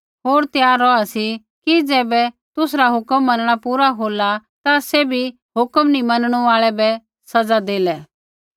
होर त्यार रौहा सी कि ज़ैबै तुसरा हुक्म मनणा पूरा होला ता सैभी हुक्म नी मनणु आल़ै बै सज़ा देलै